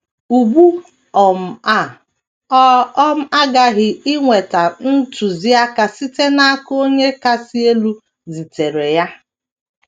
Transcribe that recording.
Ugbu um a ọ um ghaghị inweta ntụziaka site n’aka Onye Kasị Elu zitere ya.